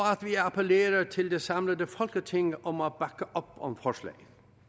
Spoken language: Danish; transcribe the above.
appellerer til det samlede folketing om at bakke op om forslaget